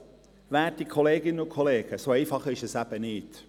Doch, werte Kolleginnen und Kollegen, so einfach ist es eben nicht.